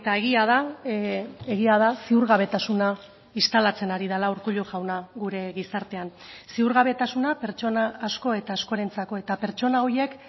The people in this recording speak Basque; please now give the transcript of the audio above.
egia da egia da ziurgabetasuna instalatzen ari dela urkullu jauna gure gizartean ziurgabetasuna pertsona asko eta askorentzako eta pertsona horiek